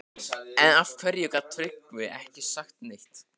En af hverju gat Tryggvi ekki sagt neitt?